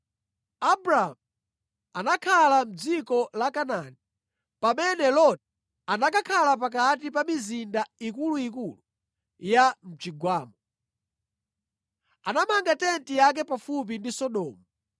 Abramu anakhala mʼdziko la Kanaani, pamene Loti anakakhala pakati pa mizinda ikuluikulu ya mʼchigwamo. Anamanga tenti yake pafupi ndi Sodomu.